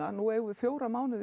nú eigum við fjóra mánuði